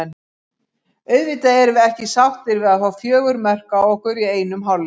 Auðvitað erum við ekki sáttir við að fá fjögur mörk á okkur í einum hálfleik.